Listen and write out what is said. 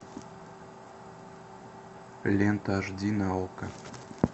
лента аш ди на окко